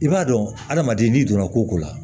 I b'a dɔn adamaden n'i donna ko ko la